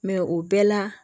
Mɛ o bɛɛ la